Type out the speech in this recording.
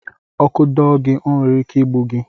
Ọkụ dọọ gị, ọ nwere ike igbu gị.